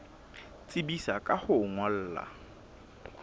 tsebisa ka ho o ngolla